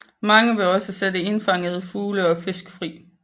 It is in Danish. Mange vil også sætte indfangede fugle eller fisk fri